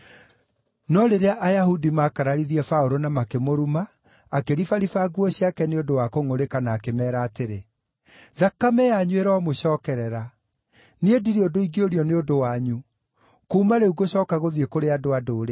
No rĩrĩa Ayahudi maakararirie Paũlũ na makĩmũruma, akĩribariba nguo ciake nĩ ũndũ wa kũngʼũrĩka na akĩmeera atĩrĩ, “Thakame yanyu ĩromũcookerera! Niĩ ndirĩ ũndũ ingĩũrio nĩ ũndũ wanyu. Kuuma rĩu ngũcooka gũthiĩ kũrĩ andũ-a-Ndũrĩrĩ.”